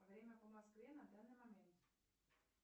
время по москве на данный момент